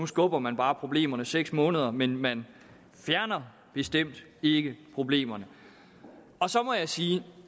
skubber man bare problemerne seks måneder men man fjerner bestemt ikke problemerne så må jeg sige